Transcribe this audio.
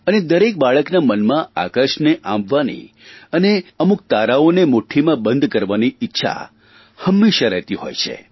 અને દરેક ભાલના મનમાં આકાશને આંબવાની અને અમુક તારાઓને મુઠ્ઠીમાં બંધ કરવાની ઇચ્છા હંમેશા રહેતી હોય છે